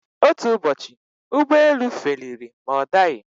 Otú Ụbọchị ụgbọ elu feliri ma ọ daghi.